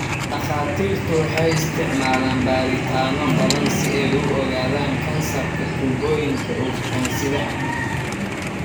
Dhakhaatiirtu waxay isticmaalaan baaritaanno badan si ay u ogaadaan kansarka tuubooyinka ugxan-sidaha.